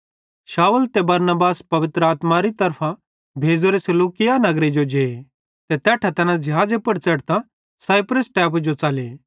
शाऊल ते बरनबास पवित्र आत्मारी तरफां भेज़ोरे सिलूकिया नगरे जो जे ते तैट्ठां तैना ज़िहाज़े पुड़ च़ेढ़तां साइप्रस टैपू जो च़ले